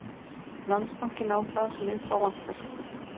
Landsbankinn á það sem upp ávantar